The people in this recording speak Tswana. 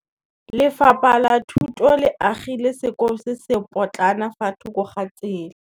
Lefapha la Thuto le agile sekôlô se se pôtlana fa thoko ga tsela.